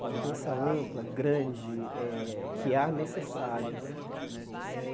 uma mudança ampla, grande, eh que é a necessária né eh.